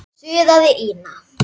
suðaði Ína.